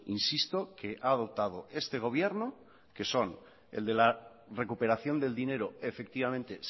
insisto que ha adoptado este gobierno que son el de la recuperación del dinero efectivamente